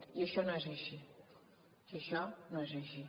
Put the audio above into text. i això no és així i això no és així